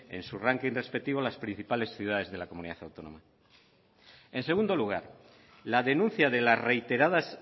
en sus rankings respectivos las principales ciudades de la comunidad autónoma en segundo lugar la denuncia de las reiteradas